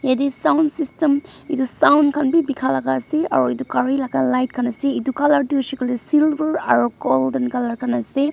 Yateh sound system etu sound khan bhi bekha laga ase aro etu gari laga light khan ase etu colour tuh hoishe kole silver aro golden colour khan ase.